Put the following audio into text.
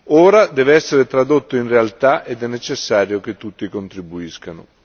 Ora deve essere tradotto in realtà ed è necessario che tutti contribuiscano.